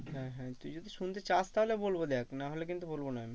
হ্যাঁ হ্যাঁ তুই যদি শুনতে চাস তাহলে বলবো দেখ না হলে কিন্তু বলবো না আমি।